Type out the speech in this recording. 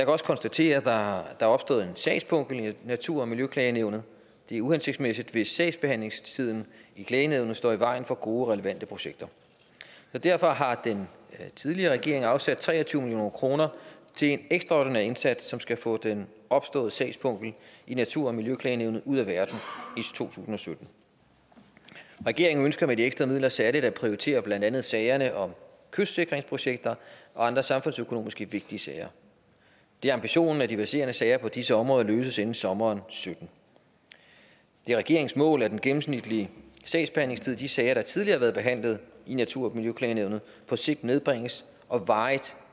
også konstatere at der er opstået en sagspukkel i natur og miljøklagenævnet det er uhensigtsmæssigt hvis sagsbehandlingstiden i klagenævnet står i vejen for gode og relevante projekter så derfor har den tidligere regering afsat tre og tyve kroner til en ekstraordinær indsats som skal få den opståede sagspukkel i natur og miljøklagenævnet ud af verden i to tusind og sytten regeringen ønsker med de ekstra midler særlig at prioritere blandt andet sagerne om kystsikringsprojekter og andre samfundsøkonomisk vigtige sager det er ambitionen at de verserende sager på disse områder løses inden sommeren og sytten det er regeringens mål at den gennemsnitlige sagsbehandlingstid i de sager der tidligere har været behandlet i natur og miljøklagenævnet på sigt nedbringes og varigt